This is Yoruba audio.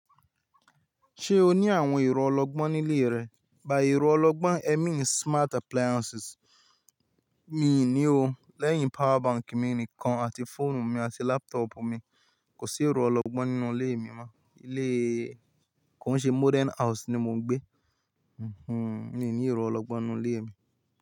Ṣé o ní àwọn ẹ̀rọ ọlọgbọ́n nílé rẹ? By ẹ̀rọ ọlọgbọ́n ẹ́ mean smart appliances. Mi ò ní o. Lẹ́yìn power bank mi nìkan àti fóònù mi àti laptop mi. Kò sí ẹ̀rọ ọlọgbọ́n nínú ilé mi mọ́. Ilé, kọ́n ṣe modern house ni mo ń gbé. Hhm, mi ò ní ẹ̀rọ ọlọgbọ́n nínú ilé mi.